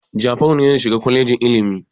Jafaru ne zai shiga kwalejin ilimi.